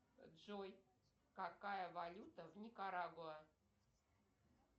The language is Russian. джой какая валюта в никарагуа